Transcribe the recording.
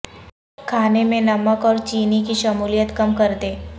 کھانے میں نمک اور چینی کی شمولیت کم کردیں